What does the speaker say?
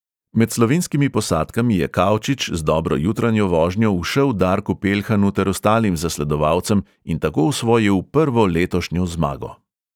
Med slovenskimi posadkami je kaučič z dobro jutranjo vožnjo ušel darku peljhanu ter ostalim zasledovalcem in tako osvojil prvo letošnjo zmago.